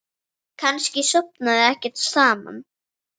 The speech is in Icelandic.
Kannski sofa þau ekkert saman?